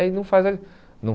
Aí não faz a não